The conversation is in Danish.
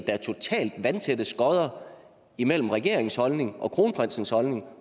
er totalt vandtætte skotter imellem regeringens holdning og kronprinsens holdning